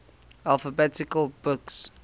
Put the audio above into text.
alphabet books